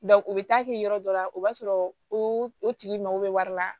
u bɛ taa kɛ yɔrɔ dɔ la o b'a sɔrɔ o tigi mago bɛ wari la